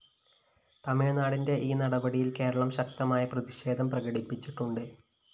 തമിഴ്‌നാടിന്റെ ഈ നടപടിയില്‍ കേരളം ശക്തമായ പ്രതിഷേധം പ്രകടിപ്പിച്ചിട്ടുണ്ട്‌